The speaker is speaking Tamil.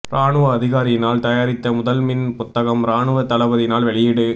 இராணுவ அதிகாரியினால் தயாரித்த முதல் மின் புத்தகம் இராணுவ தளபதியினால் வெளியீடு